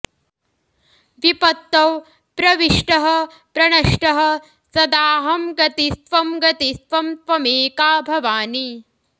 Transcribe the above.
विपत्तौ प्रविष्टः प्रनष्टः सदाहं गतिस्त्वं गतिस्त्वं त्वमेका भवानि